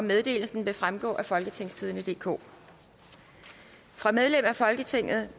meddelelsen vil fremgå af folketingstidende DK fra medlem af folketinget